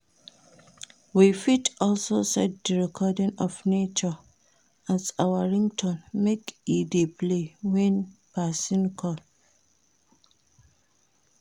We fit also set the recording of nature as our ringtone make e dey play when persin call